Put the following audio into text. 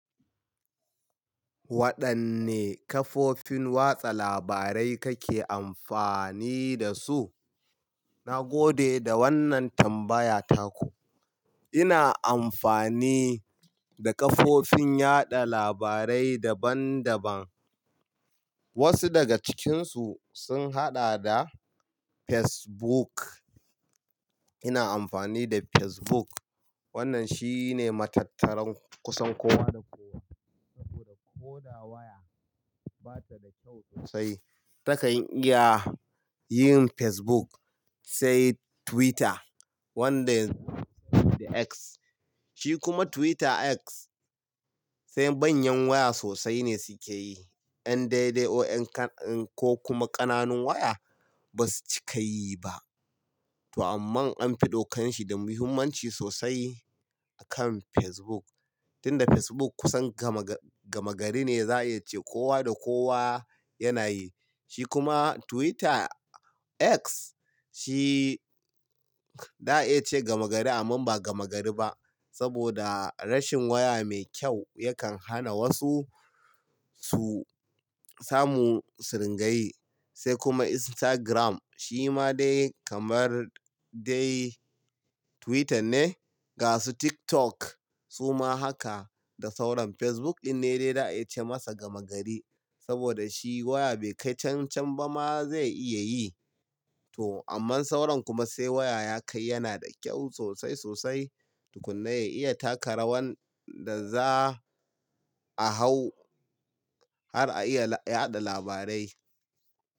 Waɗanne kafofin watsa labarai kake amfani da su? Na gode da wannan tambaya tako. Ina amfani da kafofin yaɗa labarai daban daban. Wasu daga cikinsu sun haɗa da Facebook. Ina amfani da Facebook. Wannan shine matattaran kusan kowa da kowa saboda ko da waya bata da kyau sosai takan iya yin Facebook, sai Twitter wanda yanzu da "X". Shi kuma Twitter "X" sai manyan waya sosai ne suke yi. 'Yan daidai ko 'yan ko kuma ƙananun waya ba su cika yi ba. To amma an fi ɗaukanshi da muhimmanci sosai akan Facebook. Tinda Facebook kusan gama, gama gari ne za a ce kowa da kowa yana yi. Shi kuma Twitter "X" shi za a iya ce gama gari amma ba gama gari ba saboda rashin waya mai kyau yakan hana wasu su samu suringayi. Sai kuma Instagram shi ma dai kamar dai Twitter ne. Ga su TikTok su ma haka da sauran Facebook dinne dai za a iya ce masa gama gari saboda shi waya bai kai can can ba ma zai iya yi. To amma sauran kuma sai waya ya kai yana da kyau sosai sosai tukunna ya iya taka rawan da za a hau har a iya yaɗa labarai.